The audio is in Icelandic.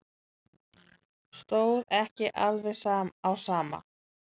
Stóð ekki alveg á sama.